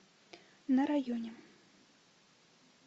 на районе